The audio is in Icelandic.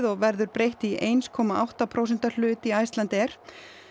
og verður breytt í eitt komma átta prósenta hlut í Icelandair